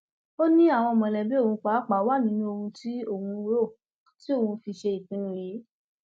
ó ní àwọn mọlẹbí òun pàápàá wà nínú òun tí òun rò tí òun fi ṣe ìpinnu yìí